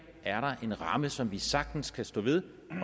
er en ramme som vi sagtens kan stå ved